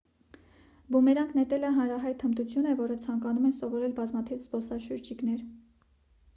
բումերանգ նետելը հանրահայտ հմտություն է որը ցանկանում են սովորել բազմաթիվ զբոսաշրջիկներ